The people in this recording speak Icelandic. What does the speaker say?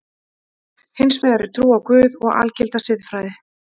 Hins vegar er trú á Guð og algilda siðfræði.